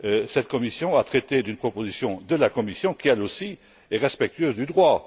Cette commission a traité d'une proposition de la Commission qui, elle aussi, est respectueuse du droit.